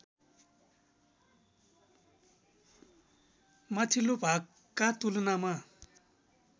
माथिल्लो भागका तुलनामा